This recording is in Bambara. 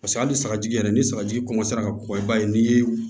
Paseke hali sagaji yɛrɛ ni sagaji ka kɔgɔ i b'a ye n'i ye